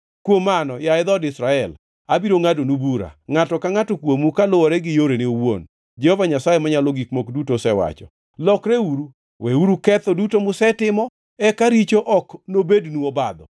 “Kuom mano, yaye dhood Israel, abiro ngʼadonu bura, ngʼato ka ngʼato kuomu kaluwore gi yorene owuon, Jehova Nyasaye Manyalo Gik Moko Duto osewacho. Lokreuru! Weuru ketho duto musetimo, eka richo ok nobednu obadho.